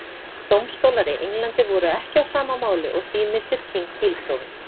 Dómstólar í Englandi voru ekki á sama máli og því missir King bílprófið.